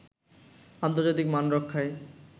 আন্তর্জাতিক মান রক্ষায়